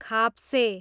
खाप्से